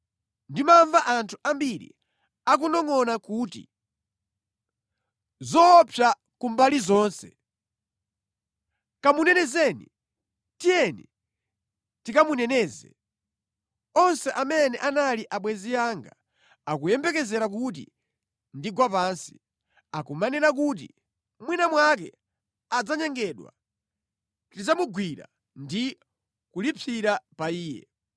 Ndimamva anthu ambiri akunongʼona kuti, “Zoopsa ku mbali zonse! Kamunenezeni! Tiyeni tikamuneneze!” Onse amene anali abwenzi anga akuyembekezera kuti ndigwa pansi, akumanena kuti, “Mwina mwake adzanyengedwa; tidzamugwira ndi kulipsira pa iye.”